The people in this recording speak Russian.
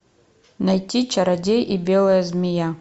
найти чародей и белая змея